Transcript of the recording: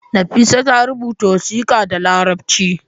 Nafisa ta rubuta wasiƙa da larabci